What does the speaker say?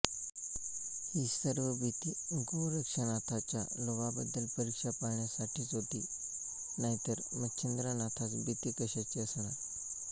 ही सर्व भीति गोरक्षनाथाच्या लोभाबद्दल परीक्षा पाहण्यासाठीच होती नाही तर मच्छिंद्रनाथास भीति कशाची असणार